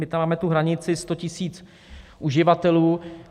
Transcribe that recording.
My tam máme tu hranici 100 tisíc uživatelů.